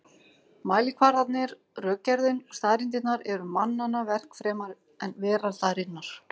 Mælikvarðarnir, rökgerðin og staðreyndirnar eru mannanna verk fremur en veraldarinnar.